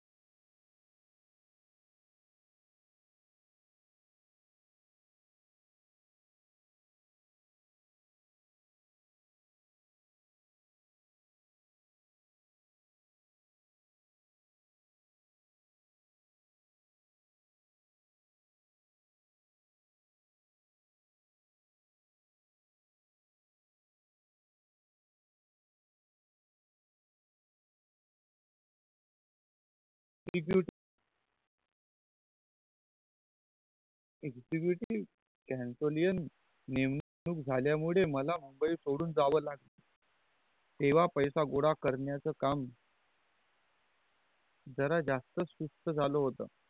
executive cansolian नेमणूक झाल्या मुले मला मुंबई सोडून जाव लागला तेव्हा पैसा गोला करण्याचा काम जर जास्त सुस्त झाला होत